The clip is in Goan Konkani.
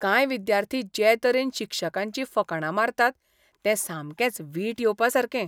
कांय विद्यार्थी जे तरेन शिक्षकांचीं फकाणां मारतात तें सामकेंच वीट येवपासारकें